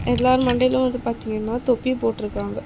எல்லார் மண்டைலுவந்து பாத்தீங்கன்னா தொப்பி போட்ருக்காங்க.